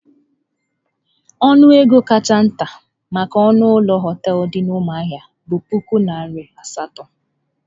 Ọnụ ego kacha nta maka ọnụ ụlọ hoteelu dị na Umuahia bụ puku naira asatọ.